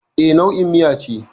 E, nau'in miya ce.